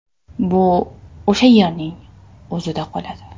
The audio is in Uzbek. Bu o‘sha yerning o‘zida qoladi.